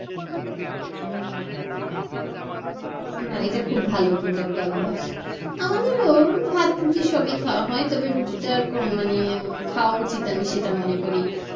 এটা কিন্তু খুব ভালো একটা অভ্যাস আমাদের ওরকম ভাত রুটি সবই খাওয়া হয় তবে রুটি টা কম মানে খাওয়া উচিত আমি সেটা মনে করি,